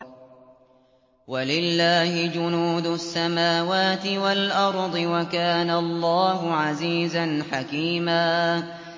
وَلِلَّهِ جُنُودُ السَّمَاوَاتِ وَالْأَرْضِ ۚ وَكَانَ اللَّهُ عَزِيزًا حَكِيمًا